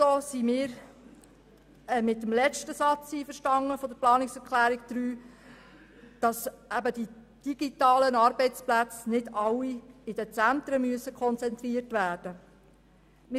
Wir sind auch mit dem letzten Satz der Planungserklärung 2 einverstanden, wonach die digitalen Arbeitsplätze nicht alle in den Zentren konzentriert werden müssen.